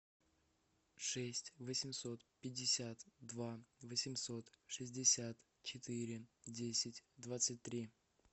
шесть восемьсот пятьдесят два восемьсот шестьдесят четыре десять двадцать три